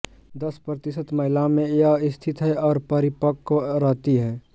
दस प्रतिशत महिलाओं में यह स्थिति है और अपरिपक्व रहती है